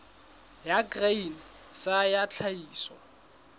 ya grain sa ya tlhahiso